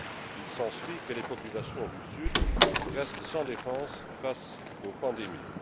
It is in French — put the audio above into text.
Il s'ensuit que les populations du Sud restent sans défense face aux pandémies.